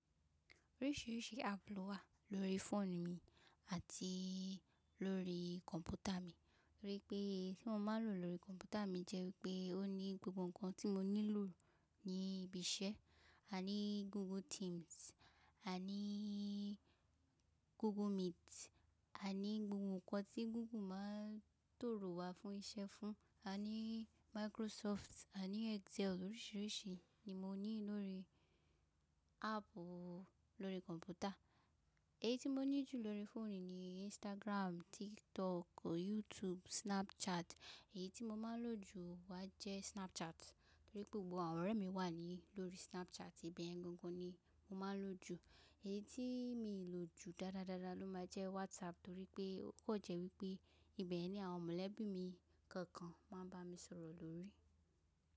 Oríṣìíríṣìí app ló wà lórí fóònù mi àti lórí kọ̀m̀pútà mi. Torí pé tí mo máa lò lórí kọ̀m̀pútà mi jẹ́ wípé ó ní gbogbo ǹkan tí mo nílò ní ibi iṣẹ́. A ní Google Teams, a ní Google Meet, a ní gbogbo ǹkan tí Google máa ń tòrò wa fún iṣẹ́ fún. A ní Microsoft, a ní Excel. Oríṣìíríṣìí ni mo ní lórí app lórí kọ̀m̀pútà. Èyí tí mo ní jù lórí fóònù ni Instagram, TikTok, YouTube, Snapchat. Èyí tí mo máa lò jù wá jẹ́ Snapchat, torí gbogbo àwọn ọ̀rẹ́ mi wà ní lórí Snapchat. Ìbẹ̀ yẹn gangan ni mo máa lò jù. Èyí tí mi lò jù dáadáa dáadáa ló máa jẹ́ WhatsApp torí pé ó kàn jẹ́ wípé ìbẹ̀yen ni àwọn mọ̀lẹ́bí mi kọ̀ọ̀kan máa ń bá mi sọ̀rọ̀ lórí.